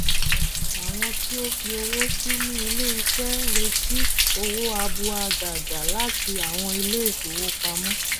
àwọn tí ó fi owó sínú ilé iṣẹ ń retí owó àbúa gágá láti àwọn ilé ifówopàmọ